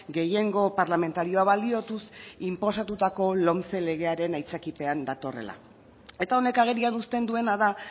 gehiengo parlamentarioaz baliatuz inposatutako lomce legearen aitzakiapean datorrela eta honek agerian uzten duena da